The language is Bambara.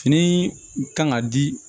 Fini kan ka di